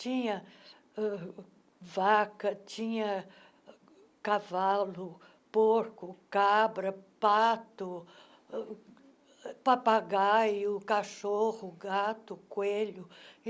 Tinha uh vaca, tinha cavalo, porco, cabra, pato, uh papagaio, cachorro, gato, coelho.